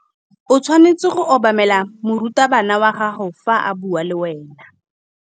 O tshwanetse go obamela morutabana wa gago fa a bua le wena.